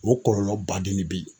O kɔlɔlɔ baden de bɛ yen.